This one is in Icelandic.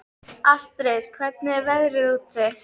Astrid, hvernig er veðrið úti?